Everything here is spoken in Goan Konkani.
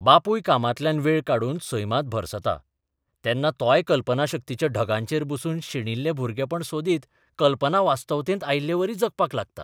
बापूय कामांतल्यान वेळ काडून सैमांत भरसता तेन्ना तोय कल्पनाशक्तीच्या ढगांचेर बसून शेणिल्ले भुरगेपण सोदीत कल्पना वास्तवतेंत आयिल्लेवरी जगपाक लागता.